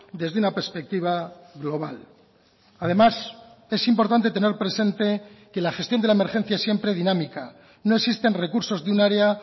desde una perspectiva global además es importante tener presente que la gestión de la emergencia siempre dinámica no existen recursos de un área